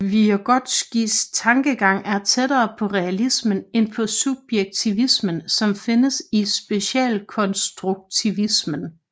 Vygotskijs tankegang er tættere på realismen end på subjektivismen som findes i socialkonstruktivismen